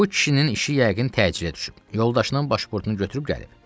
Bu kişinin işi yəqin təcilə düşüb, yoldaşının başpurtunu götürüb gəlib.